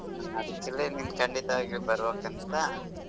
ಅದಕಲೆ ನೀ ಖಂಡಿತವಾಗಿ ಬರ್ಬೆಕ್ ಅಂತ.